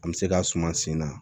An bɛ se ka suma sen na